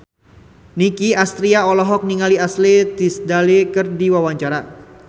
Nicky Astria olohok ningali Ashley Tisdale keur diwawancara